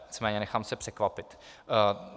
Nicméně nechám se překvapit.